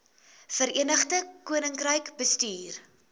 verenigde koninkryk bestuur